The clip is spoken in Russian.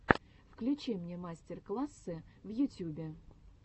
включи мне мастер классы в ютюбе